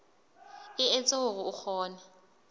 e etsa hore o kgone